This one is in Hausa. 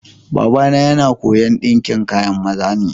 Baba na yana koya'n dinkin kayan maza ne.